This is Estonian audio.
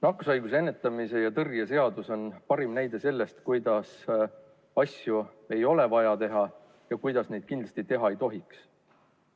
Nakkushaiguste ennetamise ja tõrje seadus on parim näide sellest, kuidas asju ei ole vaja teha ja kuidas neid kindlasti teha ei tohiks.